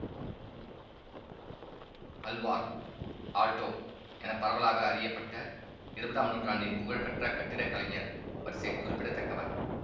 Alwar Aalto என பரவலாக அறியப்பட்ட இருபதாம் நூற்றாண்டின் புகழ் பெற்ற கட்டிடக்கலைஞர் வரிசையில் குறிப்பிடத்தக்கவர்